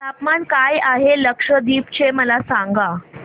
तापमान काय आहे लक्षद्वीप चे मला सांगा